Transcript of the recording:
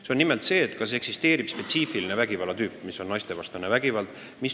See on nimelt küsimus, kas eksisteerib spetsiifiline vägivallatüüp, mis on naistevastane vägivald.